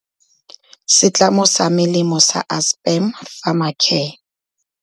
Setlamo sa melemo sa Aspen Pharmacare.